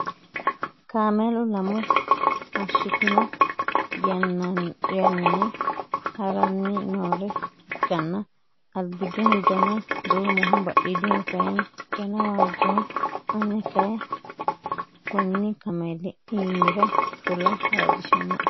Kaamelu lamu hashshitino yannayi haranni noore ikkanna albiidihu dana duumoho. Badhiidihu kayii dana waajjoho. Ane kayii konni kaameli iimira fula waajjishannoe.